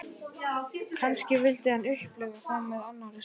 Kannski vildi hann upplifa þá með annarri stúlku.